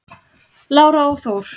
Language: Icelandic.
Lára og Þór.